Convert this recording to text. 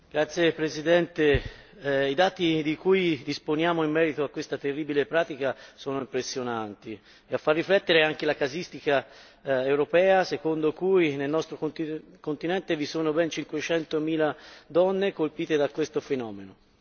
Signora Presidente, onorevoli colleghi, i dati di cui disponiamo in merito a questa terribile pratica sono impressionanti, e a far riflettere è anche la casistica europea, secondo cui nel nostro continente vi sono ben 500 mila donne colpite da questo fenomeno.